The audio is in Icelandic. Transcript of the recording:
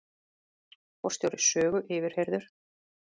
Forstjóri Sögu yfirheyrður